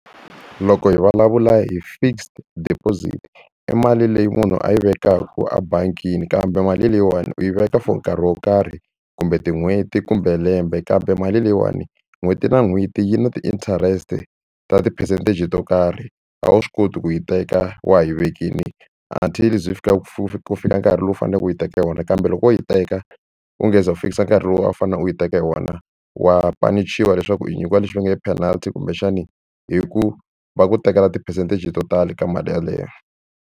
Loko hi vulavula hi fixed deposit i mali leyi munhu a yi vekaka ebangini kambe mali leyiwani u yi veka for nkarhi wo karhi kumbe tin'hweti kumbe lembe kambe mali leyiwani n'hweti na n'hweti yi na ti-interest ta ti-percentage to karhi a wu swi koti ku yi teka wa ha yi vekile until yi ze yi fika ku fika nkarhi lowu faneleke u yi teka hi wona kambe loko wo yi teka u nge se za u fikisa nkarhi lowu a wu fanele u yi teka hi wona wa panichiwa leswaku i nyikiwa lexi va nge i penalt kumbexani hi ku va ku tekela ti-percentage to tala eka mali yeleyo.